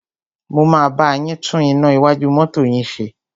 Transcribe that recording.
Mo máa bá yín tún iná iwájú mọ́tọ́ yín ṣe.